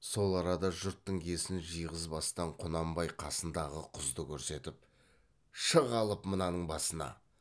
сол арада жұрттың есін жиғызбастан құнанбай қасындағы құзды көрсетіп шық алып мынаның басына